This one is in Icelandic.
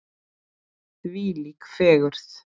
Þvílík fegurð!